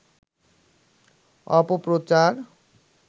অপপ্রচার